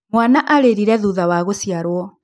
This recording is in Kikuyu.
Mwana arĩrire thutha wa gũciarwo